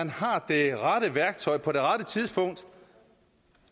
har det rette værktøj på det rette tidspunkt